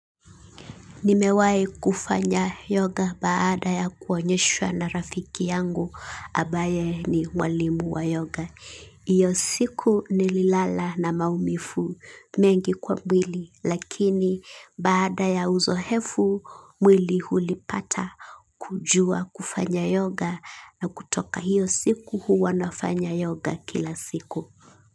Nimewai kufanya yoga baada ya kuonyeshwa na rafiki yangu ambaye ni mwalimu wa yoga. Iyo siku nililala na maumivu mengi kwa mwili lakini baada ya uzoefu mwili hulipata kujua kufanya yoga na kutoka hiyo siku huwa nafanya yoga kila siku.